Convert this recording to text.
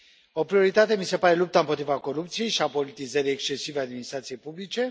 O prioritate mi se pare lupta împotriva corupției și a politizării excesive a administrației publice.